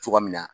Cogo min na